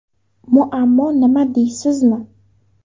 Muammo nima deysizmi?